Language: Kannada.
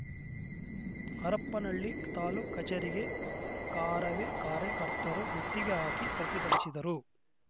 ಹರಪನಹಳ್ಳಿ ತಾಲೂಕ್ ಕಚೇರಿಗೆ ಕಾರವೇ ಕಾರ್ಯಕರ್ತರು ಮುತ್ತಿಗೆ ಹಾಕಿ ಪ್ರತಿಭಟಿಸಿದರು